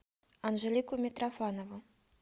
анжелику митрофанову